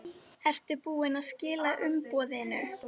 Ertu búinn að skila umboðinu?